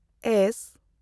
S